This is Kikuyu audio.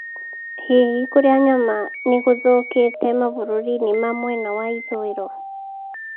Hihi kũrĩa nyama nĩ gũthũkĩte mabũrũri-inĩ ma mwena wa ithũĩro?